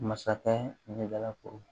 Masakɛ ɲɛdalako